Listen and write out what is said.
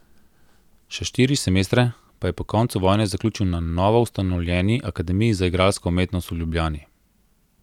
Še štiri semestre pa je po koncu vojne zaključil na novoustanovljeni Akademiji za igralsko umetnost v Ljubljani.